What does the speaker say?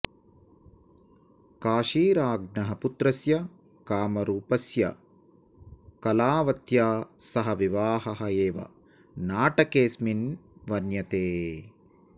काशीराज्ञः पुत्रस्य कामरूपस्य कलावत्या सह विवाहः एव नाटकेस्मिन् वर्ण्यते